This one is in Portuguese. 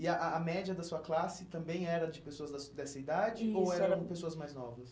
E a a a média da sua classe também era de pessoas da sua dessa idade, isso eram, ou eram pessoas mais novas?